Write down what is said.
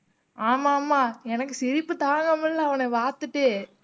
ஆமா ஆமா எனக்கு சிரிப்பு தாங்க முடில அவன பார்த்துட்டு